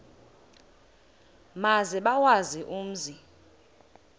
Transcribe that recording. maze bawazi umzi